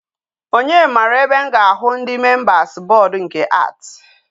Onye mara ebe m ga-ahụ ndi members board nke art